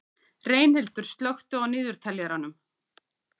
Reynhildur, slökktu á niðurteljaranum.